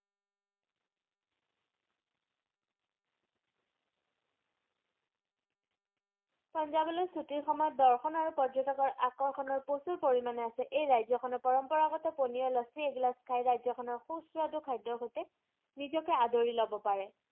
পাঞ্জাবলে ছুটিৰ সময়ত দৰ্শন আৰু পৰ্যটকৰ আকৰ্ষণৰ প্ৰচুৰ পৰিমানে আছে এই ৰাজ্যখনৰ পৰম্পৰাগত পনিয়া লাচ্ছি এগিলাস খাই ৰাজ্যখনৰ সুস্বাদু খাদ্যৰ সৈতে নিজকে আদৰি লব পাৰে।